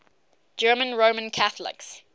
german roman catholics